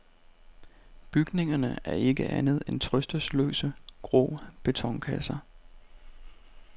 Bygningerne er ikke andet end trøstesløse, grå betonkasser.